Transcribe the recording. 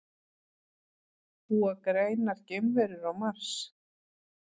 Búa grænar geimverur á Mars?